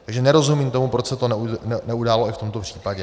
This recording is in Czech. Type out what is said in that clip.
Takže nerozumím tomu, proč se to neudálo i v tomto případě.